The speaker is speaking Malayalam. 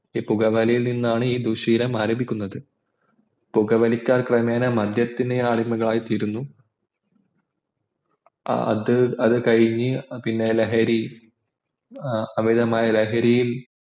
ഈ പുകവലിയിൽ നിന്ന ഈ ദുശ്ശീലം ആരംഭിക്കുന്നത് പുകവലിക്കാർ ക്രമേണ മദ്യത്തിന് അടിമയായിത്തീരുന്നു അത് അത് കഴിഞ്ഞു പിന്നെ ലഹര ഏർ അമിതമായ ലഹരിയിൽ